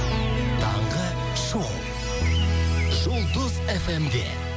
таңғы шоу жұлдыз эф эм де